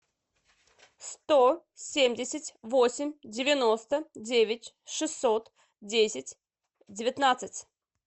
сто семьдесят восемь девяносто девять шестьсот десять девятнадцать